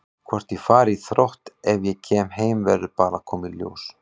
Hvort ég fari í Þrótt ef ég kem heim verður bara að koma í ljós.